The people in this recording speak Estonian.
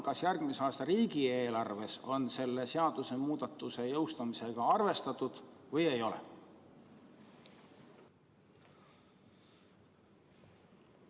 Kas järgmise aasta riigieelarves on selle seadusemuudatuse jõustamisega arvestatud või ei ole?